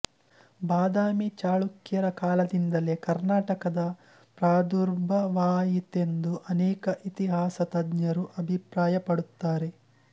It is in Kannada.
ಬಾದಾಮಿ ಚಳುಕ್ಯರ ಕಾಲದಿಂದಲೇ ಕರ್ನಾಟಕದ ಪ್ರಾದುರ್ಭಾವವಾಯಿತೆಂದು ಅನೇಕ ಇತಿಹಾಸತಜ್ಞರು ಅಭಿಪ್ರಾಯಪಡುತ್ತಾರೆ